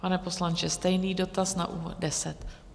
Pane poslanče, stejný dotaz na úvod.